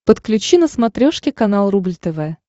подключи на смотрешке канал рубль тв